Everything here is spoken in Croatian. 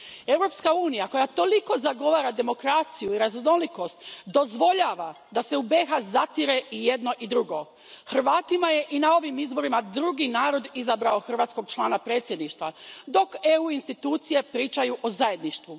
Europska unija koja toliko zagovara demokraciju i raznolikost dozvoljava da se u BiH zatire i jedno i drugo. Hrvatima je i na ovim izborima drugi narod izabrao hrvatskog člana Predsjedništva, dok EU institucije pričaju o zajedništvu.